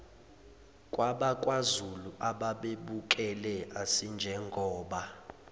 kwabakwazulu ababebukele asinjengoba